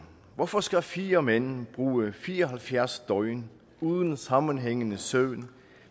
hvorfor skal fire mænd bruge fire og halvfjerds døgn uden sammenhængende søvn